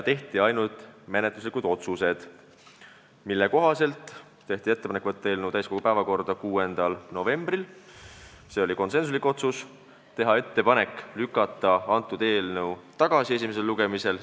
Tehti ainult menetluslikud otsused: teha ettepanek võtta eelnõu täiskogu päevakorda 6. novembriks ja teha ettepanek lükata eelnõu esimesel lugemisel tagasi.